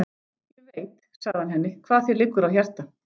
Ég veit, sagði hann henni, hvað þér liggur á hjarta